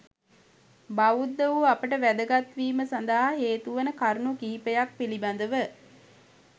බෞද්ධ වූ අපට වැදගත් වීම සඳහා හේතු වන කරුණු කිහිපයක් පිළිබඳව